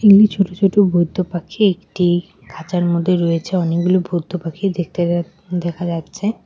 এগুলি ছোট-ছোট বৈদ্য পাখি একটি খাঁচার মধ্যে রয়েছে অনেকগুলো বৈদ্য পাখি দেখতে দেখা যাচ্ছে।